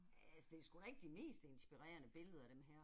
Altså det er sgu da ikke de mest inspirerende billeder dem her